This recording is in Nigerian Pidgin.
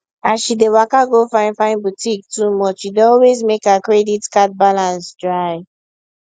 as she dey waka go finefine boutique too much e dey always make her credit card balance dry